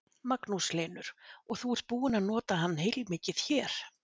Magnús Hlynur: Og þú ert búinn að nota hann heilmikið hér?